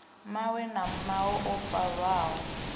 mawe na mawe o farwaho